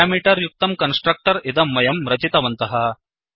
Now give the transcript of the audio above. parameter युक्तं constructor इदं वयं रचितवन्तः